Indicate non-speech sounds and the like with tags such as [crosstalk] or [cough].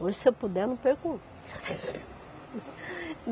Hoje, se eu puder, eu não perco um. [laughs]